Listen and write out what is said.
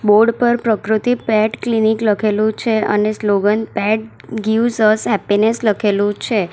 Board પર Prakriti pet clinic લખેલું છે અને slogan pet gives us happiness લખેલું છે.